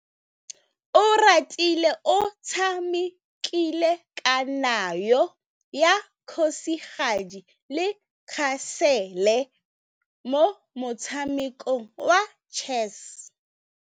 Oratile o tshamekile kananyô ya kgosigadi le khasêlê mo motshamekong wa chess.